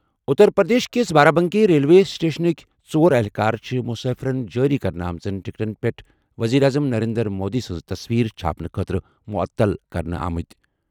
اُتر پرٛدیش کِس بارابنکی ریلوے سٕٹیشنٕکہِ ژور اہلکار چھِ مُسافِرن جٲری کرنہٕ آمژن ٹِکٹَن پٮ۪ٹھ ؤزیٖر اعظم نریندر مودی سٕنٛز تصویر چھاپنہٕ خٲطرٕ معطل کرنہٕ آمٕتۍ ۔